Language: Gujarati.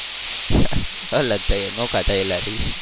અલગ થયેલા નોખા થયેલા છીએ.